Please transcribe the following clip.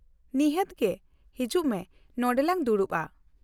-ᱱᱤᱦᱟᱹᱛ ᱜᱮ! ᱦᱤᱡᱩᱜ ᱢᱮ, ᱱᱚᱸᱰᱮ ᱞᱟᱝ ᱫᱩᱲᱩᱵᱼᱟ ᱾